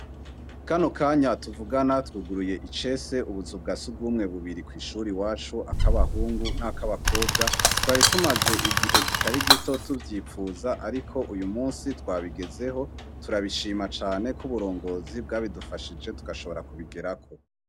kano kanya tuvugana twuguruye icese ubusugasi bwumwe bubiri kw’ishuri ryacu ak'abahungu n'ak'abakobwa twari tumaze igihe kitari gito tuvyipfuza ariko uyu munsi twabigezeho turabishima cane k'uburongozi bwabidufashije tugashobora kubigerako